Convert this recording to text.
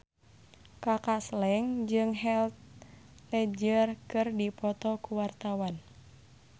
Kaka Slank jeung Heath Ledger keur dipoto ku wartawan